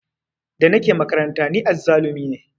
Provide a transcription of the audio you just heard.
Da nake makaranta ni azzalumi ne